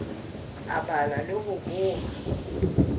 a bala le ho boha